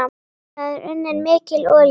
Þar er unnin mikil olía.